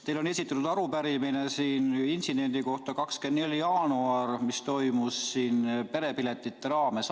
Teile on esitatud arupärimine intsidendi kohta 24. jaanuaril, mis toimus perepiletite raames.